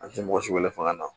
An tɛ mɔgɔ si wele fanga na